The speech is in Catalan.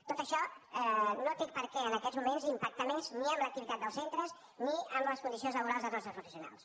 tot això no té per què en aquests moments impactar més ni en l’activitat dels centres ni en les condicions laborals dels nostres professionals